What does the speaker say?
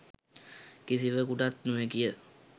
කිසිවකුටත් නොහැකි ය.